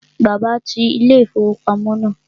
Bàbá ti ilé-ìfowópamọ́ náà